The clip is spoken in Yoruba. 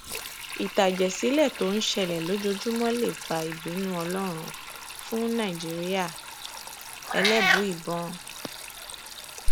mo maa n gbáralé atìlẹyìn àwọn eniyan láti kojú àwọn ìpèníjà nígbà tí koba si ise ijoba